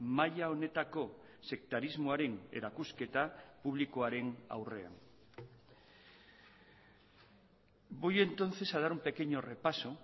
maila honetako sektarismoaren erakusketa publikoaren aurrean voy entonces a dar un pequeño repaso